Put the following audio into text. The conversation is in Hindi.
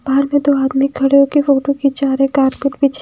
घर में दो आदमी खड़े हो के फोटो खींचा रहे कारपेट पीछे--